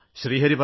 ഹരി പറയൂ